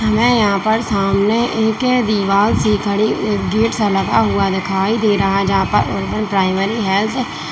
हमें यहां पर सामने एके दिवाल सी खड़ी गेट सा लगा हुआ दिखाई दे रहा है जहां पर अरबन प्राइमरी हेल्थ --